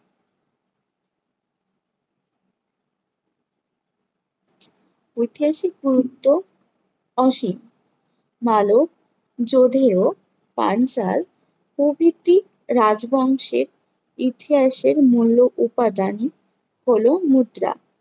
ঐতিহাসিক গুরুত্ব অসীম। মালদ, যোধেয়, পাঞ্চাল প্রভৃতি রাজবংশের ইতিহাসের মূল্য উপাদান হলো মুদ্রা।